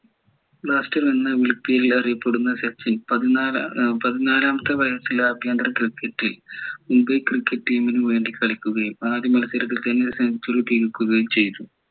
എന്നാ വിളിപ്പേരിൽ അറിയപ്പെടുന്ന സച്ചിൻ പതിനാലാമത്തെ വയസ്സിൽ ആഭ്യന്തര cricket ൽ മുംബൈ cricket team നു വേണ്ടി കളിക്കുകയും ആദ്യ മത്സരത്തിൽ തന്നെ century തികക്കുകയും ചെയ്തു